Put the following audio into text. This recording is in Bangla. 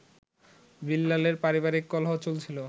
বিল্লালের পারিবারিক কলহ চলছিল